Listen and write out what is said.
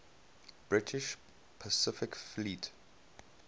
british pacific fleet